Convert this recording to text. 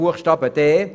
Buchstabe d